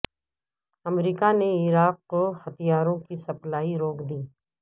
امریکہ نے عراق کو ہتھیاروں کی سپلائی روک دی